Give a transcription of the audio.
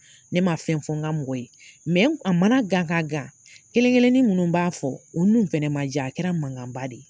Ne ma fɛn fɔ ŋa mɔgɔ ye n a mana gan k'a gan, kelen-kelennin ninnu n b'a fɔ, o nun fɛnɛ ma diya, a kɛra mankanba de ye.